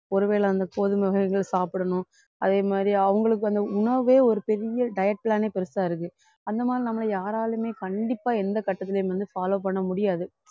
ஒருவேளை அந்த கோதுமை வகைகள் சாப்பிடணும் அதே மாதிரி அவங்களுக்கு வந்து உணவே ஒரு பெரிய diet plan ஏ பெருசா இருக்கு அந்த மாதிரி நம்மள யாராலயுமே கண்டிப்பா எந்த கட்டத்துலயும் வந்து follow பண்ண முடியாது